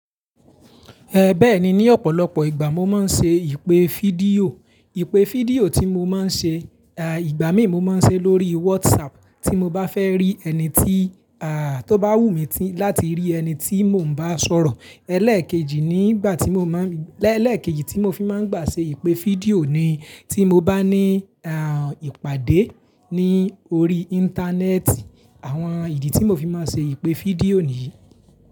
Eh béè ni ní ọ̀pọ̀lọpọ̀ ìgbà mo máa n ṣe ìpé fídíò. Ìpé fídíò tí mo máa n ṣe, à ìgbà mìí mo máa n ṣe lórí WhatsApp tí mo bá fẹ́ rí ẹni tí à tó bá wù mi tí láti rí ẹni tí mò ń ba sọ̀rọ̀. Ẹlẹ́kejì nígbà tí mo máa n, ẹlẹ́kejì tí mo fi máa n gbà ṣe ìpé fídíò ni tí mo bá ní à ìpàdé ní orí íńtánẹ́ẹ̀tì. Àwọn ìdí tí mo fi máa n ṣe ìpé fídíò ní yi.